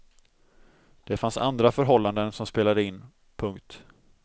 Det fanns andra förhållanden som spelade in. punkt